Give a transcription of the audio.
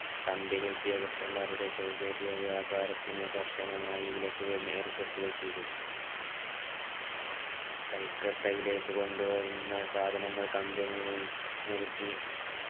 combany ഉദ്യോഗസ്ഥമാരുടെ സൗകര്യ വ്യാപാരത്തിന് കർശനമായി വിലക്കുകൾ ഏർപ്പെടുത്തുകയും ചെയ്തു കൽക്കട്ടയിലേക്ക് കൊണ്ടുവരുന്ന സാധനങ്ങൾ company യിൽ നൽകി